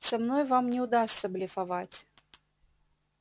со мной вам не удастся блефовать